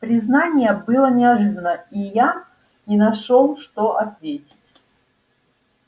признание было неожиданно и я не нашёл что ответить